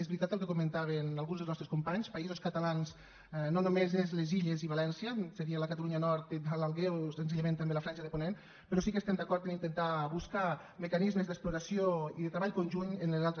és veritat el que comentaven alguns dels nostres companys països catalans no només són les illes i valència seria la catalunya nord o l’alguer o senzillament també la franja de ponent però sí que estem d’acord en intentar buscar mecanismes d’exploració i de treball conjunt amb les altres